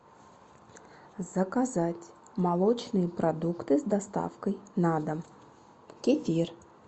заказать молочные продукты с доставкой на дом кефир